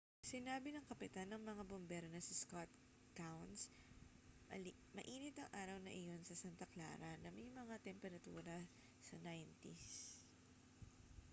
sinabi ng kapitan ng mga bumbero na si scott kouns mainit ang araw na iyon sa santa clara na may mga temperatura sa 90s